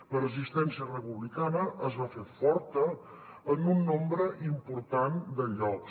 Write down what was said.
la resistència republicana es va fer forta en un nombre important de llocs